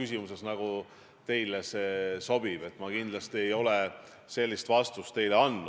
Sinu heakskiidul saadeti Eestit Euroopa Nõukogu Parlamentaarsesse Assambleesse esindama Urmas Reitelmann.